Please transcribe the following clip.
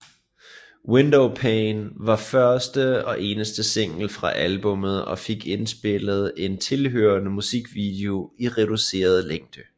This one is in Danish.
Windowpane var eneste single fra albummet og fik indspillet en tilhørende musikvideo i reduceret længde